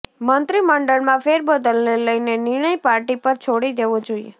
મંત્રીમંડળમાં ફેરબદલને લઇને નિર્ણય પાર્ટી પર છોડી દેવો જોઇએ